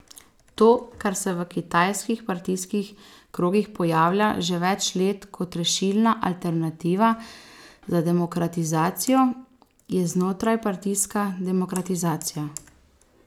To, kar se v kitajskih partijskih krogih pojavlja že več let kot rešilna alternativa za demokratizacijo, je znotrajpartijska demokratizacija.